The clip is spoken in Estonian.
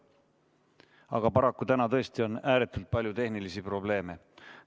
Aga paraku täna tõesti on ääretult palju tehnilisi probleeme.